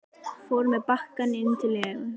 Fór með bakkann inn til Lenu.